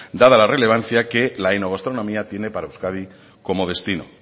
dada la relevancia que la enogastronomia tiene para euskadi como destino